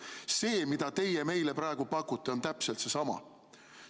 See, mida teie meile praegu pakute, on täpselt seesama.